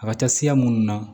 A ka ca siya minnu na